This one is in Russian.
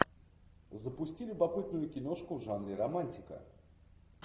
запусти любопытную киношку в жанре романтика